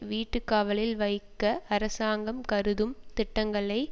வீட்டு காவலில் வைக்க அரசாங்கம் கருதும் திட்டங்களை